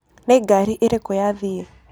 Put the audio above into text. Nĩ ngarĩ ĩrĩkũ yathĩe.